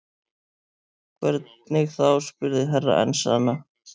Hvernig þá spurði Herra Enzana.